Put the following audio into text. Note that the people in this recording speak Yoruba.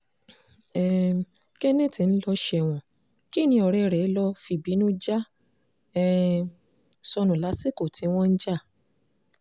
um kenneth ń lọ sẹ́wọ̀n kínní ọ̀rẹ́ rẹ̀ ló fìbínú já um sọnù lásìkò tí wọ́n ń jà